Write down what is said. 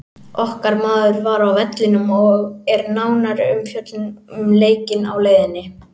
Okkar maður var á vellinum og er nánari umfjöllun um leikinn á leiðinni.